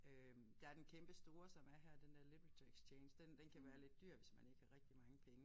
Øh der er den kæmpestore som er her den der LiteratureXchange den den kan være lidt dyr hvis man ikke har rigtig mange penge